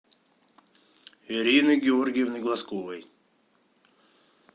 ирины георгиевны глазковой